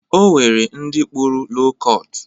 O nwere ndị kpụrụ lo kọt.